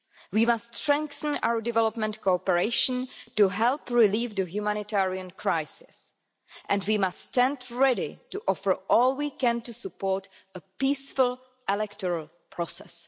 We must strengthen our development cooperation to help relieve the humanitarian crisis, and we must stand ready to offer all we can to support a peaceful electoral process.